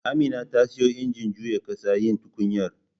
Amina ta siyo injin juya ƙasa yin tukunyar